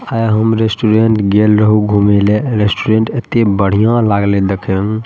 आएय हम रेस्टॉरेंट गईल रहु घूमेले रेस्टॉरेंट एते बढ़िया लागले देखे में।